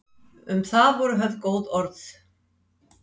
Um það voru höfð góð orð.